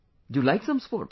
Do you like some sports